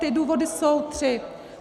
Ty důvody jsou tři.